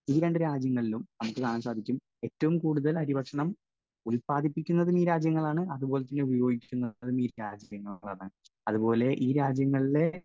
Speaker 1 ഈ രണ്ടു രാജ്യങ്ങളിലും നമുക്ക് കാണാൻ സാധിക്കും, ഏറ്റവും കൂടുതൽ അരിഭക്ഷണം ഉൽപ്പാദിപ്പിക്കുന്നതും ഈ രാജ്യങ്ങളാണ്, അതുപോലെതന്നെ ഉപയോഗിക്കുന്നതും ഈ രാജ്യങ്ങളാണ്. അതുപോലെ ഈ രാജ്യങ്ങളിലെ